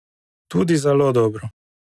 Tudi zelo dobro!